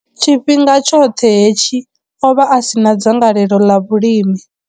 Tshifhinga tshoṱhe hetshi, o vha a si na dzangalelo ḽa vhulimi.